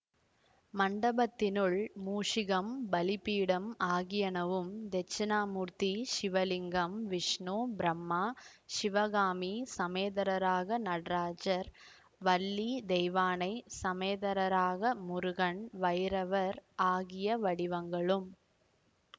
மண்டபத்தினுள் மூஷிகம் பலிபீடம் ஆகியனவும் தெட்சணாமூர்த்தி சிவலிங்கம் விஷ்ணு பிரம்மா சிவகாமி சமேதரராக நடராஜர் வள்ளி தெய்வானை சமேதரராக முருகன் வைரவர் ஆகிய வடிவங்களும்